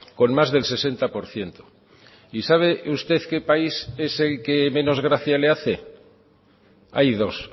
con más del sesenta por ciento y sabe usted qué país es el que menos gracia le hace hay dos